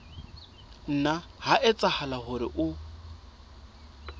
nna ha etsahala hore o